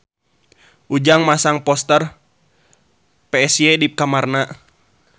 Ujang masang poster Psy di kamarna